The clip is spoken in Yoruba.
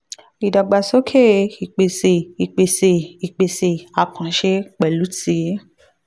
ìdàgbàsókè ìpèsè ìpèsè ìpèsè àkànṣe pẹ̀lú ti